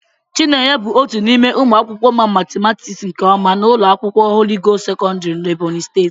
Chinenye bụ otu n'ime ụmụ akwụkwọ ma matịmatịks nke ọma na ụlọ akwụkwọ Holị Gost sekọndrị n'Ebonyi steeti.